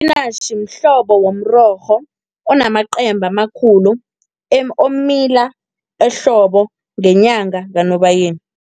Ispinatjhi mhlobo womrorho, onamacembe amakhulu omila ehlobo, ngenyanga kaNobayeni.